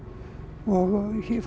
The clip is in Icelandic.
og fór